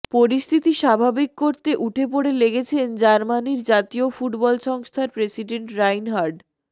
পরিস্থিতি স্বাভাবিক করতে উঠে পড়ে লেগেছেন জার্মানির জাতীয় ফুটবল সংস্থার প্রেসিডেন্ট রাইনহার্ড